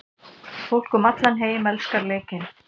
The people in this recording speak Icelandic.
Fólk um allan heim elskar leikinn.